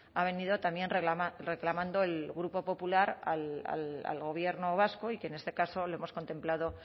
ha venido también reclamando el grupo popular al gobierno vasco y que en este caso lo hemos contemplado